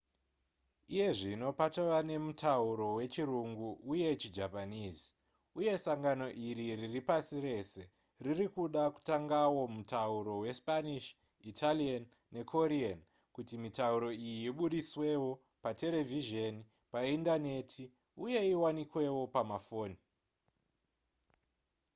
iye zvino patova nemutauro wechirungu uye chijapanese uye sangano iri riri pasi rese riri kuda kutangawo mutauro wespanish italian nekorean kuti mitauro iyi ibudiswewo paterevhizheni paindaneti uye iwanikewo pamafoni